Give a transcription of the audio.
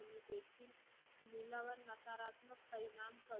नकारात्मक परिणाम